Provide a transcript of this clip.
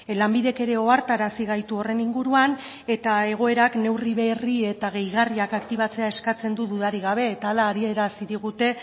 lanbidek ere ohartarazi gaitu horren inguruan eta egoerak neurri berri eta gehigarriak aktibatzea eskatzen du dudarik gabe eta hala adierazi digute